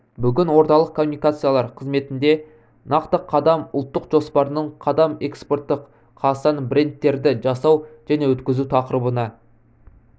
бүгін орталық коммуникациялар қызметінде нақты қадам ұлттық жоспарының қадам экспорттық қазақстандық брендтерді жасау және өткізу тақырыбына